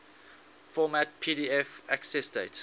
format pdf accessdate